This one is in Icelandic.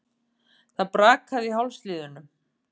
Það brakaði í hálsliðunum.